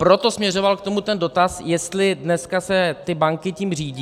Proto směřoval k tomu ten dotaz, jestli se dneska ty banky tím řídí.